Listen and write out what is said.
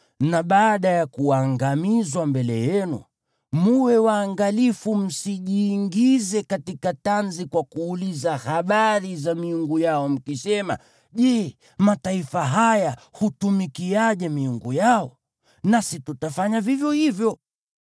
na baada ya kuangamizwa mbele yenu, mwe waangalifu msijiingize katika tanzi kwa kuuliza habari za miungu yao, mkisema, “Je, mataifa haya hutumikiaje miungu yao? Nasi tutafanya vivyo hivyo.”